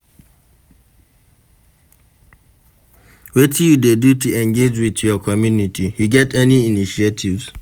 wetin you dey do to engage with your community, you get any initiatives?